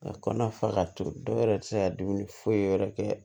A kɔnɔna fa ka to dɔw yɛrɛ ti se ka dumuni foyi wɛrɛ kɛ